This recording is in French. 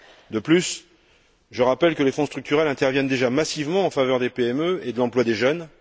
De plus, je rappelle que les fonds structurels interviennent déjà massivement en faveur des PME et de l'emploi des jeunes.